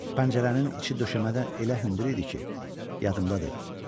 Pəncərənin içi döşəmədən elə hündür idi ki, yadımdadır.